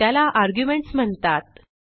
त्याला आर्ग्युमेंट्स म्हणतात